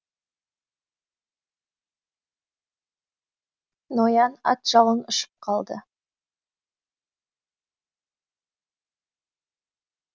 ноян ат жалын құшып қалды